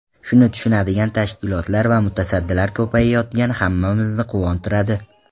Shuni tushunadigan tashkilotlar va mutasaddilar ko‘payayotgani hammamizni quvontiradi.